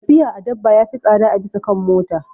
Tafiya a dabba ya fi tsada a bisa kan mota.